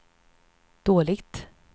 dåligt